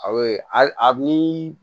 Aw ye hali a bi